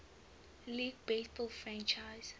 league baseball franchise